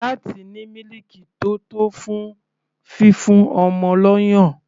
Láti ní mílìkì tó tó fún fífún ọmọ lọ́yàn.